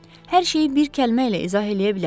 Hər şeyi bir kəlmə ilə izah eləyə bilərəm.